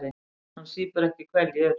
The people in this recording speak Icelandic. Hann sýpur ekki hveljur.